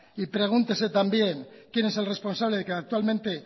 y pregúntese también quién es el responsable de que actualmente